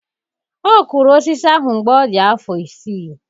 Ọ kụrụ osisi ahụ mgbe ọ dị afọ isii.